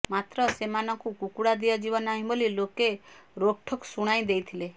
ମାତ୍ର ସେମାନଙ୍କୁ କୁକୁଡ଼ା ଦିଆଯିବ ନାହିଁ ବୋଲି ଲୋକେ ରୋକ୍ଠୋକ୍ ଶୁଣାଇ ଦେଇଥିଲେ